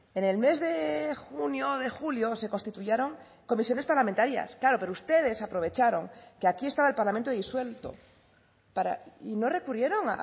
en el mes de junio o de julio se constituyeron comisiones parlamentarias claro pero ustedes aprovecharon que aquí estaba el parlamento disuelto para y no recurrieron